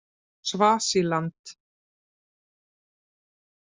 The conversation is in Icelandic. Svasíland